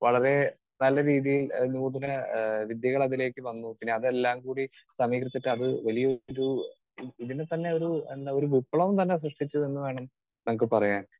Speaker 2 വളരെ നല്ല രീതിയിൽ ഏഹ് നൂതന ഏഹ് വിദ്യകൾ അതിലേക്ക് വന്നു പിന്നെ അതെല്ലാം കൂടി സമീകരിച്ചിട്ട് അത് വലിയ ഒരു തന്നെ ഒരു എന്താ ഒരു വിപ്ലവം തന്നെ സൃഷ്ടിച്ചു എന്നുവേണം പറയാൻ.